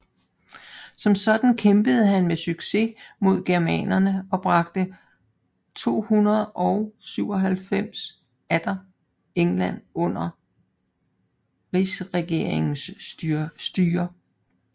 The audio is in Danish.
Som sådan kæmpede han med succes mod germanerne og bragte 297 atter England under rigsregeringens styre